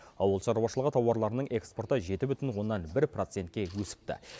ауыл шаруашылығы тауарларының экспорты жеті бүтін оннан бір процентке өсіпті